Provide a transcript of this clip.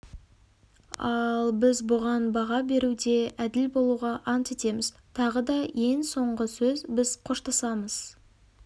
ал біз бұған баға беруде әділ болуға ант етеміз тағы да ең соңғы сөз біз қоштасамыз